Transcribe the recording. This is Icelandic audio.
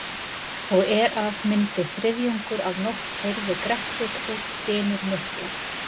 Og er af myndi þriðjungur af nótt heyrði Grettir út dynur miklar.